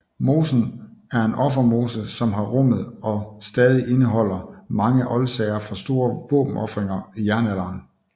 Mosen er en offermose som har rummet og stadig indeholder mange oldsager fra store våbenofringer i jernalderen